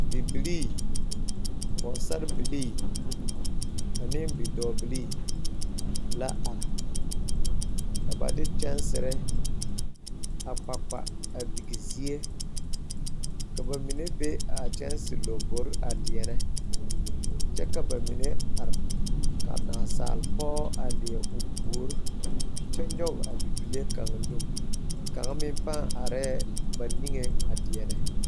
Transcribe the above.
Bibiire, pɔgsarebilii ane bidɔɔbilee la are kyɛ ka ba de kyããsire a kpakpa pige zie. A Bibiire mine be la a kyããsire laŋboreŋ a deɛnɛ kyɛ ka ba mine are ka naasalpɔge a leɛ o puori kyɛ nyog a bibile kaŋ nu. Kaŋ meŋ are la a ba neŋeŋ deɛnɛ.